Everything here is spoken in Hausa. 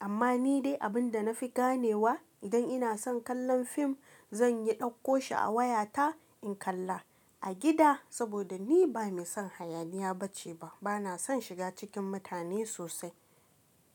Amma ni dai abin da na fi ganewa idan ina son kallon fim, zan yi ɗauko shi a wayata in kalla a gida saboda ni ba mai son hayaniya ba ce ba. Bana son shiga cikin mutane sosai.